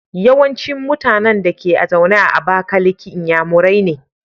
Yawancin mutAnan Dake zaune a abakaliki inyamurai ne